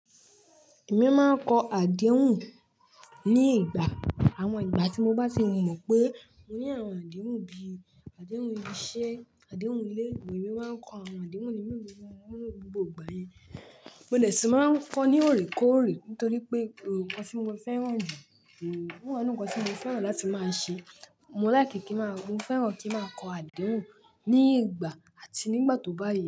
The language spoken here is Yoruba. Èmi máa ń kọ àdéhùn ní ìgbà. Àwọn ìgbà tí mo bá ti mọ̀ pé mo ní àwọn àdéhùn bí i àdéhùn iṣẹ́, àdéhùn ilé, èmi máa ń kọ àwọn àdéhùn inú mi gbogbo ìgbà yẹn. Mo dẹ̀ ti máa ń kọ ní òrèkóòrè nítorí pé òòrè kọ́ ni mo fẹ́ràn jù. Òòrè kọ́ ni nǹkan tí mo fẹ́ràn láti máa ṣe. Mo láì kí kí máa, mo fẹ́ràn kí máa kọ àdéhùn ní ìgbà àti nígbà tó bá yẹ.